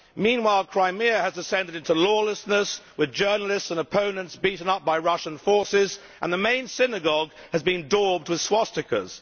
Meanwhile, Crimea has descended into lawlessness, with journalists and opponents beaten up by Russian forces, and the main synagogue has been daubed with swastikas.